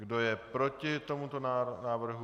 Kdo je proti tomuto návrhu?